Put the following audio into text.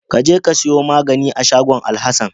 Kaje ka siya maganin a shagon Alhasan.